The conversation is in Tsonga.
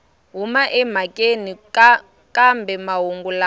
huma emhakeni kambe mahungu lama